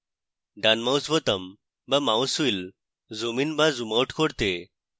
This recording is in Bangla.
ডান mouse বোতাম the mouse wheel zoom in the zoom out করতে